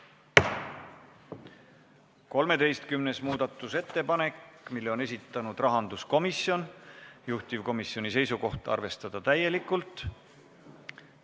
13. muudatusettepanek, mille on esitanud rahanduskomisjon, juhtivkomisjoni seisukoht: arvestada täielikult.